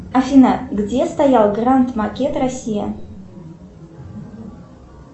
афина где стоял гранд макет россия